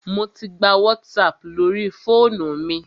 Mò tí gbà WhatsApp lórí fóònù mi.